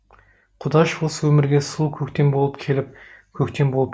құдаш осы өмірге сұлу көктем болып келіп көктем болып